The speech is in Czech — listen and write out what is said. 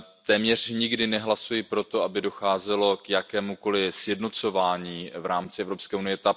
Téměř nikdy nehlasuji pro to, aby docházelo k jakémukoliv sjednocování v rámci Evropské unie.